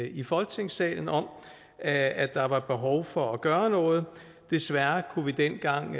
i folketingssalen om at der var behov for at gøre noget desværre kunne vi dengang